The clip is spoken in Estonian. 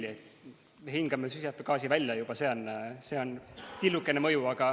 Juba sellel, et me hingame süsihappegaasi välja, on tillukene mõju.